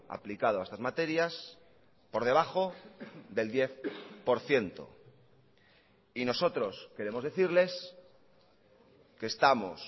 aplicado a estas materias por debajo del diez por ciento y nosotros queremos decirles que estamos